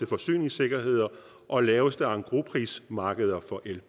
forsyningssikkerhed og laveste engrosprismarkeder for el